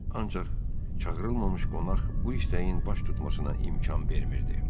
Ancaq çağırılmamış qonaq bu istəyin baş tutmasına imkan vermirdi.